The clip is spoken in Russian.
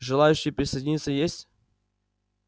желающие присоединиться есть